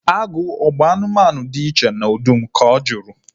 Agụ ọ bụ anụmanụ dị iche na ọdụm? Ka ọ juru